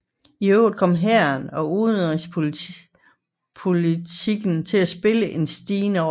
I øvrigt kom hæren og udenrigspolitikken til at spille en stigende rolle